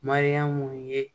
Mariyamu ye